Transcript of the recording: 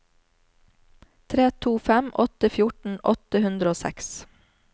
tre to fem åtte fjorten åtte hundre og seks